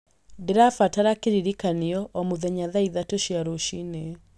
Ndĩrabatara kĩririkanioo o mũthenya thaa ithatũ cia rũcinĩ